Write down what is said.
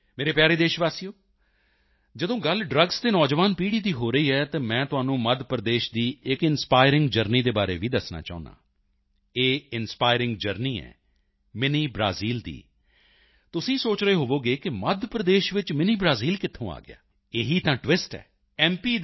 ਮੇਰੇ ਪਿਆਰੇ ਦੇਸ਼ਵਾਸੀਓ ਜਦੋਂ ਗੱਲ ਡ੍ਰੱਗਸ ਅਤੇ ਨੌਜਵਾਨ ਪੀੜ੍ਹੀ ਦੀ ਹੋ ਰਹੀ ਹੈ ਤਾਂ ਮੈਂ ਤੁਹਾਨੂੰ ਮੱਧ ਪ੍ਰਦੇਸ਼ ਦੀ ਇੱਕ ਇੰਸਪਾਇਰਿੰਗ ਜਰਨੀ ਦੇ ਬਾਰੇ ਵੀ ਦੱਸਣਾ ਚਾਹੁੰਦਾ ਹਾਂ ਇਹ ਇੰਸਪਾਇਰਿੰਗ ਜਰਨੀ ਹੈ ਮਿੰਨੀ ਬ੍ਰਾਜ਼ੀਲ ਦੀ ਤੁਸੀਂ ਸੋਚ ਰਹੇ ਹੋਵੋਗੇ ਕਿ ਮੱਧ ਪ੍ਰਦੇਸ਼ ਵਿੱਚ ਮਿੰਨੀ ਬ੍ਰਾਜ਼ੀਲ ਕਿੱਥੋਂ ਆ ਗਿਆ ਇਹੀ ਤਾਂ ਟਵਿਸਟ ਹੈ ਐੱਮ